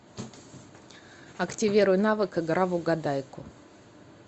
активируй навык игра в угадайку